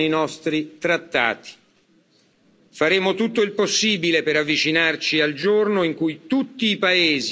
Faremo tutto il possibile per avvicinarci al giorno in cui tutti i paesi aboliranno la pena di morte.